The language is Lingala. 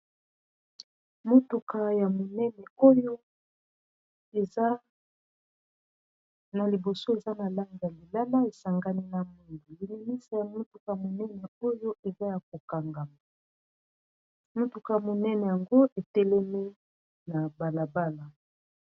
motuka ya monene oyo eza na liboso eza na lange ya lilala esangani na mungu lilimisa ya motuka monene oyo eza ya kokangama motuka ya monene yango etelemi na balabala